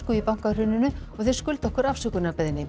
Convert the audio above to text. í bankahruninu og þeir skulda okkur afsökunarbeiðni